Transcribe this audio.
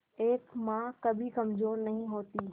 एक मां कभी कमजोर नहीं होती